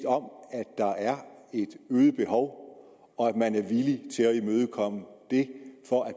øget behov og at man er villig til at imødekomme det for at